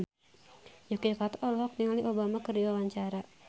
Yuki Kato olohok ningali Obama keur diwawancara